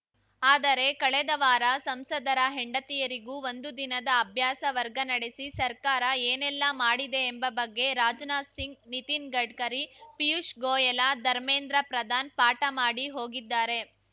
ಆದರೆ ಕಳೆದ ವಾರ ಸಂಸದರ ಹೆಂಡತಿಯರಿಗೂ ಒಂದು ದಿನದ ಅಭ್ಯಾಸ ವರ್ಗ ನಡೆಸಿ ಸರ್ಕಾರ ಏನೆಲ್ಲಾ ಮಾಡಿದೆ ಎಂಬ ಬಗ್ಗೆ ರಾಜನಾಥ್‌ ಸಿಂಗ್‌ ನಿತಿನ್‌ ಗಡ್ಕರಿ ಪಿಯೂಷ್‌ ಗೋಯಲ ಧರ್ಮೇಂದ್ರ ಪ್ರಧಾನ್‌ ಪಾಠ ಮಾಡಿ ಹೋಗಿದ್ದಾರೆ